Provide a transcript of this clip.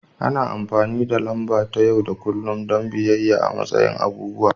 Ana amfani da lamba ta yau da kullun don bayyana matsayin abubuwa